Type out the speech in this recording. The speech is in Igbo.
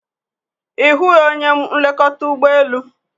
Ị hụghị onye nlekọta ụgbọ elu?